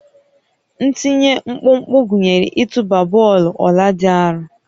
Ntinye mkpụmkpụ gụnyere ịtụba bọọlụ ọla dị arọ